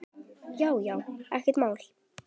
Já já, ekkert mál.